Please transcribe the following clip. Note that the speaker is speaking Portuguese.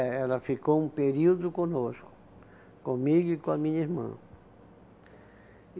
É, ela ficou um período conosco, comigo e com a minha irmã.